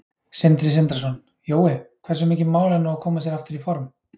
Sindri Sindrason: Jói, hversu mikið mál er nú að koma sér aftur í form?